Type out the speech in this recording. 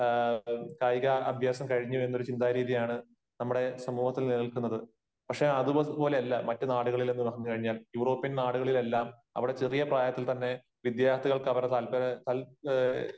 കായിക അഭ്യാസം കഴിഞ്ഞു എന്നൊരു ചിന്താഗതിയാണ് നമ്മുടെ സമൂഹത്തിൽ നിലനില്ക്കുന്നത്. പക്ഷേ അത്പോലെ അല്ല മറ്റ് നാടുകളിലെന്ന് പറഞ്ഞു കഴിഞ്ഞാൽ യൂറോപ്യൻ നാടുകളിലെല്ലാം അവിടെ ചെറിയ പ്രായത്തിൽ തന്നെ, വിദ്യാർഥികൾക്ക് അവരുടെ താല്പര്യ